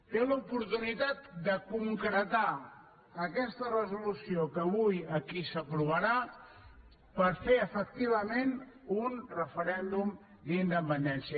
té l’oportunitat de concretar aquesta resolució que avui aquí s’aprovarà per fer efectivament un referèndum d’independència